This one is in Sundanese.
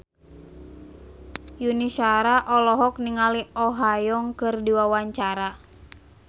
Yuni Shara olohok ningali Oh Ha Young keur diwawancara